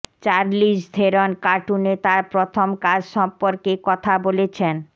চার্লিজ Theron কার্টুনে তার প্রথম কাজ সম্পর্কে কথা বলেছেন